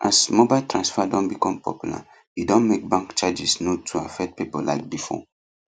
as mobile transfer don become popular e don make bank charges no too affect people like before